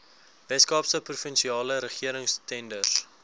weskaapse provinsiale regeringstenders